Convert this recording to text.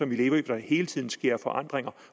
vi lever i hvor der hele tiden sker forandringer